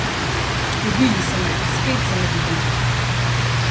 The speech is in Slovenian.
Dobili so me, spet so me dobili.